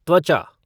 त्वचा